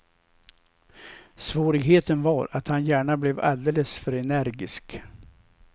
Svårigheten var att han gärna blev alldeles för energisk.